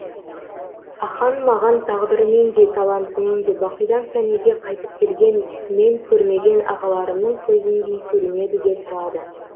ахаң маған тағдырымен де талантымен де бақидан фәниге қайтып келген мен көрмеген ағаларымның көзіндей көрінеді де тұрады